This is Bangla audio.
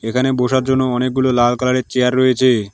এখানে বোসার জন্য অনেকগুলো লাল কালার -এর চেয়ার রয়েছে।